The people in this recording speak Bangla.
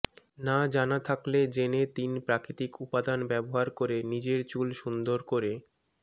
না জানা থাকলে জেনে তিন প্রাকৃতিক উপাদান ব্যবহার করে নিজের চুল সুন্দর করে